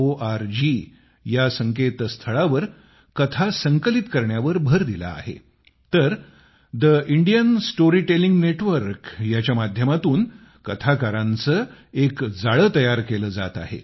org मध्ये कथा संकलित केल्या आहेत तर ठे इंडियन स्टोरीटेलिंग नेटवर्क च्या माध्यमातून कथाकार यांचे एक जाळे तयार केले जाते आहे